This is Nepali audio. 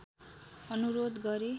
अनुरोध गरे